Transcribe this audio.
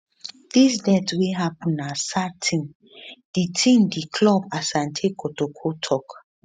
dis death wey happun na sad tin di tin di club asante kotoko tok